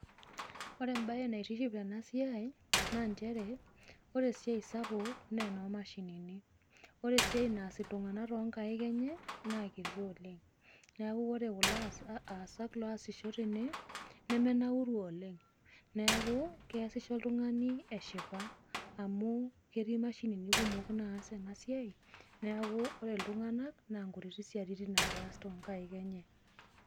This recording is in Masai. Ore embae naitiship ena siai naa nchere, ore esiai sapuk naa eno mashinini. Ore esiai naas iltung'ana tonkaik enye, naa kiti oleng, neaku ore kulo aasak oasisho tene, nemenauru oleng. Neaku keasisho oltung'ani eshipa, amu ketii imashinini naas ena siai, neaku ore iltung'ana na inkutiti siatin ake eas tonkaik enye.